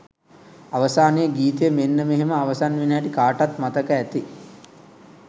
අවසානයේ ගීතය මෙන්නෙ මෙහෙම අවසන් වෙන හැටි කාටත් මතක ඇති